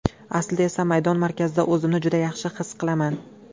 Aslida esa maydon markazida o‘zimni juda yaxshi his qilaman.